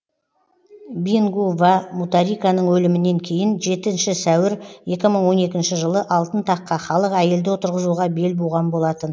бингу ва муталиканың өлімінен кейін жетінші сәуір екі мың он екінші жылы алтын таққа халық әйелді отырғызуға бел буған болатын